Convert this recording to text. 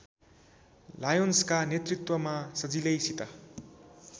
लायोन्सका नेतृत्वमा सजिलैसित